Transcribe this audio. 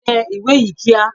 Tẹ ìwé yìí kíá!